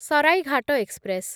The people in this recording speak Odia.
ସରାଇଘାଟ ଏକ୍ସପ୍ରେସ୍‌